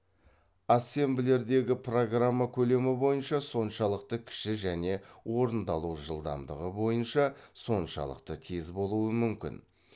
ассемблердегі программа көлемі бойынша соншалықты кіші және орындалу жылдамдығы бойынша соншалықты тез болуы мүмкін